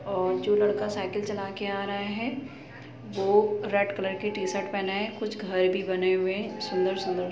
और जो लड़का साइकिल चला के आ रहा है वो रेड कलर की टी-शर्ट पहना है कुछ घर भी बने हुए है सुन्दर-सुन्दर --